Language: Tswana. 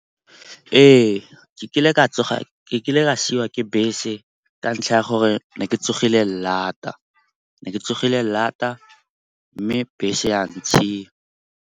Ee, ke kile ka siwa ke bese ka ntlha ya gore ne ke tsogile lata mme bese ya ntshiya.